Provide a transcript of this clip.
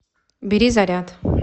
бери заряд